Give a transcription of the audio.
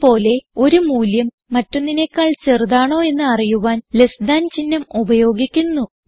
ഇത് പോലെ ഒരു മൂല്യം മറ്റൊന്നിനേക്കാൾ ചെറുതാണോ എന്ന് അറിയുവാൻ ലെസ് താൻ ചിഹ്നം ഉപയോഗിക്കുന്നു